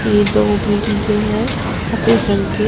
ये दो बिल्डिंग के हैं सफेद रंग के।